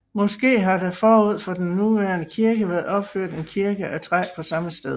Måske har der forud for den nuværende kirke været opført en kirke af træ på samme sted